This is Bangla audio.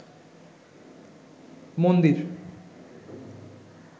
মন্দির